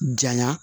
Janya